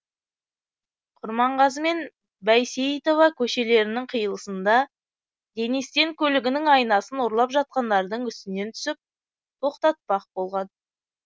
құрманғазы мен бәйсейітова көшелерінің қиылысында денис тен көлігінің айнасын ұрлап жатқандардың үстінен түсіп тоқтатпақ болған